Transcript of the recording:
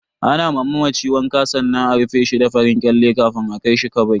Ana ma mamaci wanka sannan a rufe shi da farin kyale kafin a kai shi kabari.